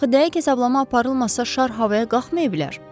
Axı dəqiq hesablama aparılmasa şar havaya qalxmaya bilər.